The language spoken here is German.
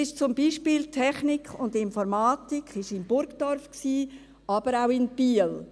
Zum Beispiel: Technik und Informatik war in Burgdorf, aber auch in Biel.